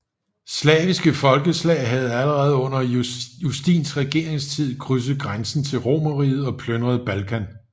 Slaviske folkeslag havde allerede under Justins regeringstid krydset grænsen til Romerriget og plyndret Balkan